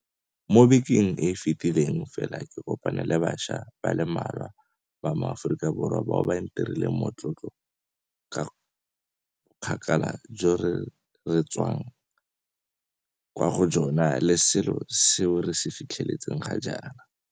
Mo bekeng e e fetileng fela ke kopane le bašwa ba le mmalwa ba maAforika Borwa bao ba ntirileng motlotlo ka bokgakala jo re re tswang kwa go jona le selo seo re se fitlheletseng ga jaana.